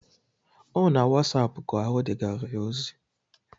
Ọ na wasapụ ka o degara ya ozi?